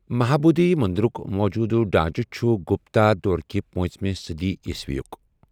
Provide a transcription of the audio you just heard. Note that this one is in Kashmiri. مہابودھی مٔنٛدِرُک موٗجوٗدٕ ڈھانٛچہ چھُ گپتا دور كہِ پانژہمہِ صٔدی عیسوی یٗك ۔